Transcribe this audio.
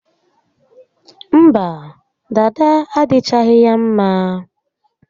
Mba, dada adịchaghị ya mma